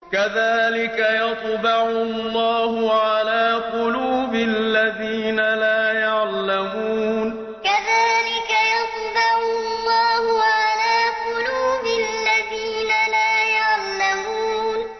كَذَٰلِكَ يَطْبَعُ اللَّهُ عَلَىٰ قُلُوبِ الَّذِينَ لَا يَعْلَمُونَ كَذَٰلِكَ يَطْبَعُ اللَّهُ عَلَىٰ قُلُوبِ الَّذِينَ لَا يَعْلَمُونَ